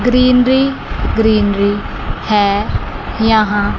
greenery greenery हैं यहां--